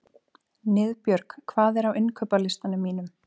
Niðbjörg, hvað er á innkaupalistanum mínum?